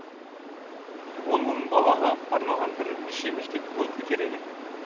он мың балаға арналған бірнеше мектеп бой көтереді